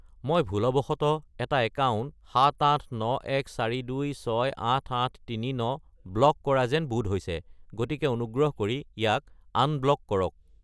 মই ভুলবশতঃ এটা একাউণ্ট 78914268839 ব্লক কৰা যেন বোধ হৈছে, গতিকে অনুগ্ৰহ কৰি ইয়াক আনব্লক কৰক।